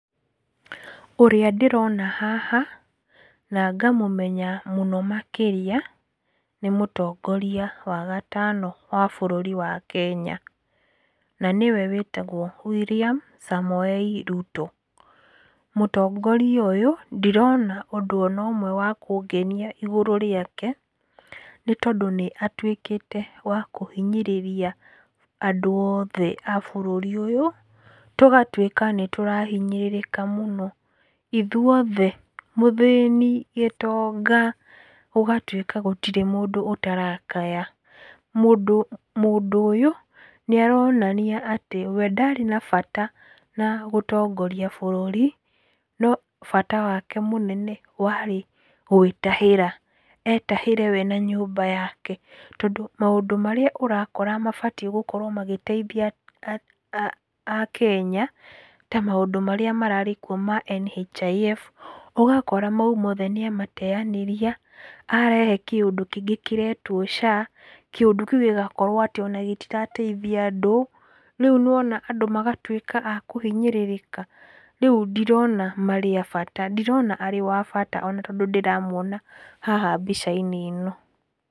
Ũrĩa ndĩrona haha na ngamũmenya mũno makĩria nĩ mũtongoria wa gatano wa bũrũri wa Kenya na nĩwe wĩtagwo William Samoei Ruto. Mũtongoria ũyũ ndirona ũndũ onomwe wa kũngenia igũrũ rĩake, nĩtondũ nĩatuĩkĩte wa kũhinyĩrĩria andũ othe a bũrũri ũyũ, tũgatuĩka nĩtũrahinyĩrĩrĩka mũno ithuothe mũthĩni, gĩtonga, gũgatuĩka gũtirĩ mũndũ ũtarakaya. Mũndũ, mũndũyũ nĩaronania atĩ we ndarĩ na bata na gũtongoria bũrũri, no bata wake mũnene warĩ gwĩtahĩra, etahĩre we na nyũmba yake, tondũ maũndũ marĩa ũrakora mabatiĩ gũkorwo agĩteithia a, a, akenya ta maũndũ marĩa mararĩ kwo ma NHIF, ũgakora mau mothe nĩamateanĩria, arehe kĩũndũ kĩngĩ kĩretwo SHA, kĩũndũ kĩũ gĩgakorwo atĩ ona gĩtirateithia andũ, rĩu nĩwona andũ magatuĩka a kũhinyĩrĩrĩka. Rĩu ndirona marĩ a bata, ndirona arĩ wa bata ona tondũ ndĩramwona haha mbica-inĩ ĩno.